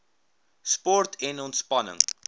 sport en ontspanning